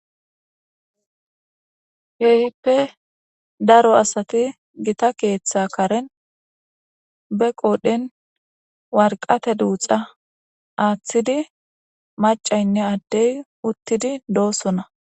yeyippe daro asati gita keeththa karen be qoodhen warqate duuxa aaththidi macaynne addey uttidi doosona